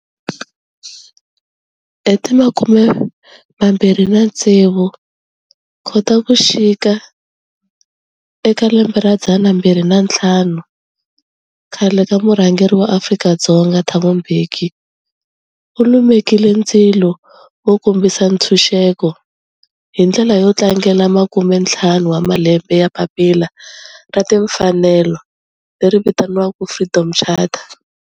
Hi ti 26 Khotavuxika 2005 khale ka murhangeri wa Afrika-Dzonga Thabo Mbeki u lumekile ndzilo wo kombisa ntshuxeko, hi ndlela yo tlangela makumentlhanu wa malembe ya papila ra timfanelo, Freedom Charter